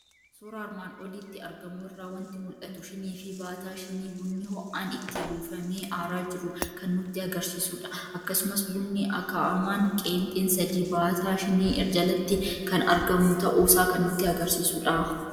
Suuraa armaan olitti argamu irraa waanti mul'atu; shiniifi baataa shinii bunni ho'aan itti buufamee aara jiru kan nutti agarsiisudha. Akkasumas bunni aga'amaan qeenxen sadi baataa shinii jalatti kan argamu ta'uusaa kan nutti agarsiisudha.